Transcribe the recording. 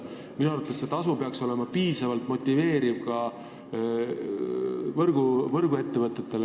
Minu arvates peaks tasu olema piisavalt motiveeriv ka võrguettevõtetele.